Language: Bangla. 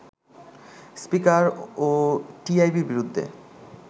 স্পীকারও টিআইবির বিরুদ্ধে